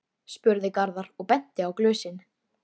spurði Garðar og benti á glösin.